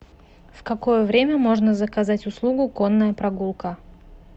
в какое время можно заказать услугу конная прогулка